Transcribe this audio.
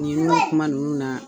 Ɲinnu kuma ninnu na.